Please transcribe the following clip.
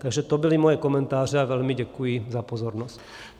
Takže to byly moje komentáře a velmi děkuji za pozornost.